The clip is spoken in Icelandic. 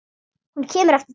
Hún kemur aftur til hans.